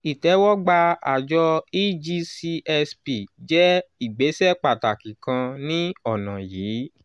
ìtẹ́wọ́gbà àjọ cs] egcsp jẹ́ ìgbésẹ̀ pàtàkì kan ní ọ̀nà yìí.